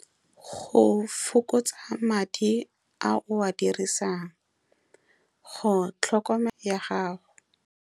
Go fokotsa madi a o a dirisang, go ya gago.